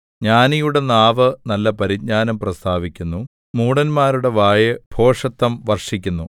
ജ്ഞാനിയുടെ നാവ് നല്ല പരിജ്ഞാനം പ്രസ്താവിക്കുന്നു മൂഢന്മാരുടെ വായ് ഭോഷത്തം വർഷിക്കുന്നു